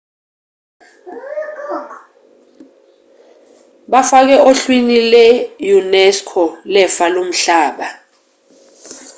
bafakiwe ohlwini lwe-unesco lefa lomhlaba